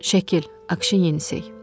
Şəkil.